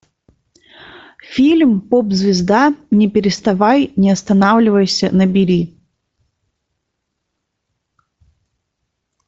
фильм поп звезда не переставай не останавливайся набери